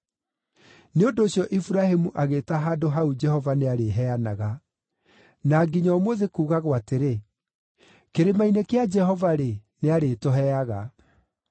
Nĩ ũndũ ũcio Iburahĩmu agĩĩta handũ hau Jehova-Nĩarĩheanaga. Na nginya ũmũthĩ kuugagwo atĩrĩ, “Kĩrĩma-inĩ kĩa Jehova-rĩ, nĩarĩtũheaga.”